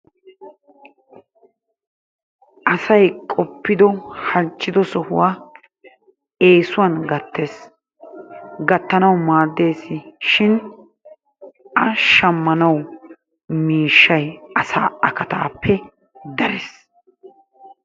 Asay qoppido halchchido sohuwaa eesuwan gattees gattanawu maaddeesi shin a shammanawu miishshay asaa akataappe darees.